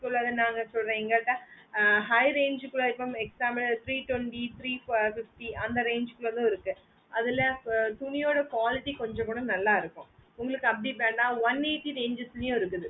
சிலாத நாங்க சொல்லற எங்க கிட்ட high range குள்ள இருக்கும் for example three twenty three fifty அந்த range குள்ள கூட இருக்கு அதுல துணியோட கொஞ்ச quality கூட நல்ல இருக்கும் உங்களுக்கு அப்புடியே வென one eighty ranges ளையும் இருக்குது